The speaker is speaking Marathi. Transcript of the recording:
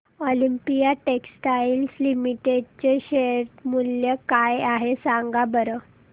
ऑलिम्पिया टेक्सटाइल्स लिमिटेड चे शेअर मूल्य काय आहे सांगा बरं